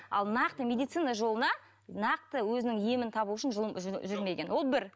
ал нақты медицина жолына нақты өзінің емін табу үшін ж жүрмеген ол бір